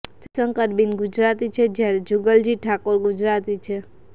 જયશંકર બિન ગુજરાતી છે જ્યારે જુગલજી ઠાકોર ગુજરાતી છે